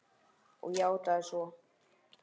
Og játað svo.